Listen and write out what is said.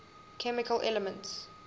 chemical elements